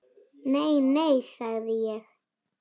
Nei, nei, sagði ég.